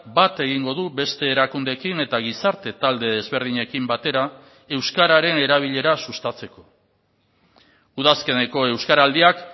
bat egingo du beste erakundeekin eta gizarte talde ezberdinekin batera euskararen erabilera sustatzeko udazkeneko euskaraldiak